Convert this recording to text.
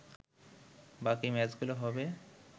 বাকি ম্যাচগুলো হবে